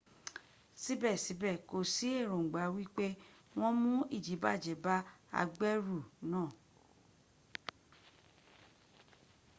síbẹ̀síbẹ̀ kò sí ẹ̀ròngbà wípé wọn mú ìdibàjẹ́ bá agbẹ́rù náà